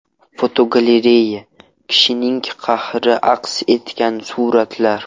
Fotogalereya: Qishning qahri aks etgan suratlar.